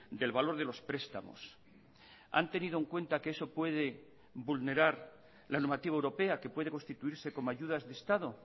del valor de los prestamos han tenido en cuenta que eso puede vulnerar la normativa europea que puede constituirse como ayudas de estado